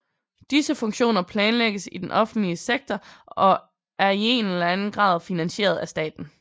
Disse funktioner planlægges i den offentlige sektor og er i en eller anden grad finansieret af staten